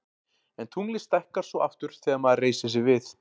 en tunglið stækkar svo aftur þegar maður reisir sig við